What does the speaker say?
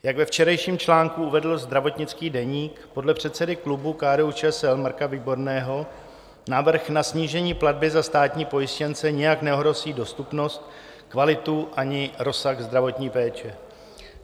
Jak ve včerejším článku uvedl Zdravotnický deník, podle předsedy klubu KDU-ČSL Marka Výborného návrh na snížení platby za státní pojištěnce nijak neohrozí dostupnost, kvalitu ani rozsah zdravotní péče.